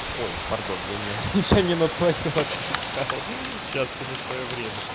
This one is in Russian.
ой пардон я не я не твоё отвечал ха-ха сейчас всему своё время